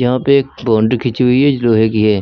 यहा पे एक बाउंड्री खींची हुई है जो लोहे की है